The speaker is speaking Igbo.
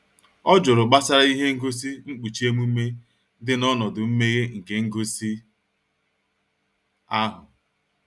ọ jụrụ gbasara ihe ngosi nkpuchi emume dị n'ọnọdụ mmeghe nke ngosi ahụ